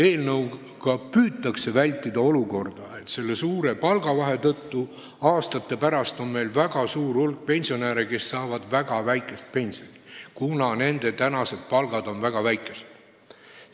Eelnõu eesmärk on püüda vältida olukorda, kus suure palgavahe tõttu on meil aastate pärast väga palju pensionäre, kes saavad väga väikest pensioni, kuna nende tänased palgad on väga väikesed.